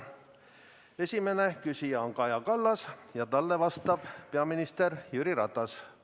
Esimene küsija on Kaja Kallas ja talle vastab peaminister Jüri Ratas.